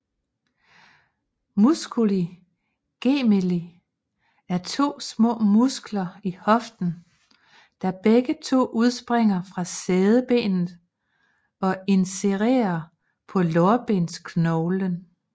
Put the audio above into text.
Musculi gemelli er to små muskler i hoften der begge to udspringer fra sædebenet og insererer på lårbensknoglen